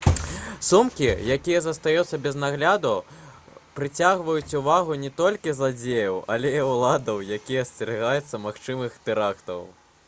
сумкі якія застаюцца без нагляду прыцягваюць увагу не толькі зладзеяў але і ўладаў якія асцерагаюцца магчымых тэрактаў